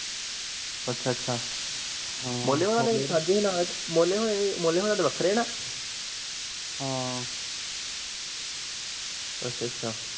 ਅੱਛਾ ਅੱਛਾ ਮੋਲੇ ਹੁਣਾ ਦੇ ਸੜਕ ਦੇ ਨਾਲ਼, ਮੋਲੇ ਹੋਣਾ ਹੁਣਾ ਦੇ ਵੱਖਰੇ ਨਾ ਹਮ ਅੱਛਾ ਅੱਛਾ